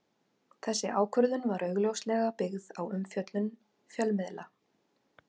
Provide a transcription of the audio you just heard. Þessi ákvörðun var augljóslega byggð á umfjöllun fjölmiðla.